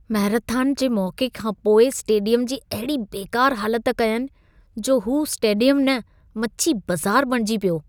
Marathon जे मौक़े खां पोइ स्टेडियम जी अहिड़ी बेकारु हालत कयनि, जो हू स्टेडियमु न मछी बज़ार बणिजी पियो।